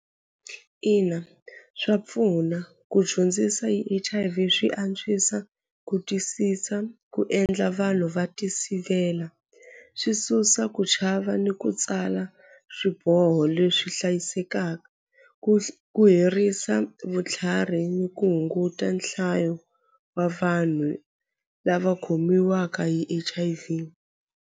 Ina swa pfuna ku dyondzisa hi H_I_V swi antswisa ku twisisa ku endla vanhu va tisivela swi susa ku chava ni ku tsala swiboho leswi hlayisekaka ku ku herisa vutlhari ni ku hunguta nhlayo wa vanhu lava khomiwaka hi H_I_V.